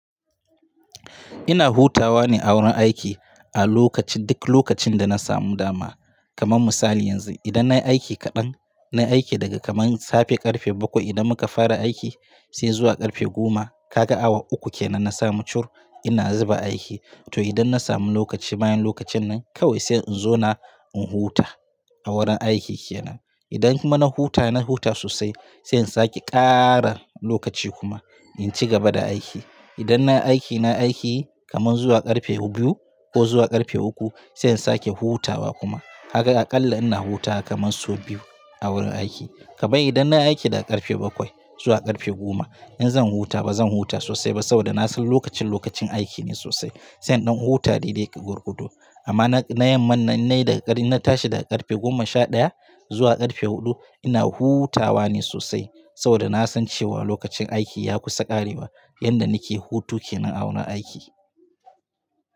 Ina hutawa ne a wurin aiki a lokaci duk lokacin da na samu dama. Kaman misali yanzu idan na yi aiki kaɗan, na yi aiki daga kaman safe ƙarfe bakwai idan muka fara aiki sai zuwa ƙarfe goma, ka ga awa uku kenan na samu cur. Ina zuba aiki to idan na samu lokaci bayan lokacin nan kawai sai in zo na in huta a wurin aiki kenan. Idan kuma na huta, na huta sosai sai in sake ƙara lokaci kuma in ci gaba da aiki. Idan na aiki, na aiki kaman zuwa ƙarfe biyu ko zuwa ƙarfe uku sai in sake hutawa kuma. Kaga aƙalla ina hutawa kamar so biyu a wurin aiki. Kabei, idan nayi aiki daga ƙarfe bakwai zuwa ƙarfe goma, in zan huta ba zan huta sosai ba saboda na san lokacin lokacin aiki ne sosai sai in ɗan huta ɗaiɗai gwargwado. Amma na yamman in na yi daga ƙarfe, in na tashi daga ƙarfe goma sha ɗaya zuwa ƙarfe huɗu ina hutawa ne sosai saboda na san cewa lokacin aiki ya kusa ƙarewa. Yadda nake hutu kenan a wurin aiki.